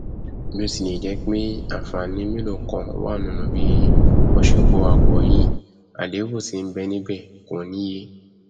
bí ó tilẹ̀ jẹ́ pé àǹfààní mélòó kan wà nínú bí wọn ṣe kó wa pọ yìí àlébù tí nbẹ níbẹ kò níye